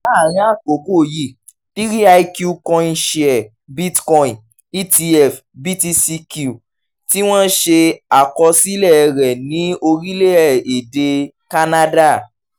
láàárín àkókò yìí three iq coinshares bitcoin etf (btcq) tí wọ́n ṣe àkọsílẹ̀ rẹ̀ ní orílẹ̀-èdè kánádà